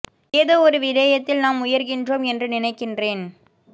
ஏதோ ஒரு விடயத்தில் நாம் உயர்கின்றோம் என்று நினைக்கின்றேன்